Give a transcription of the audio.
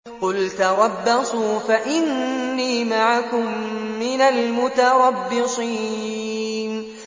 قُلْ تَرَبَّصُوا فَإِنِّي مَعَكُم مِّنَ الْمُتَرَبِّصِينَ